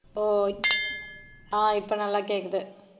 ஆஹ் இப்ப நல்லா கேக்குது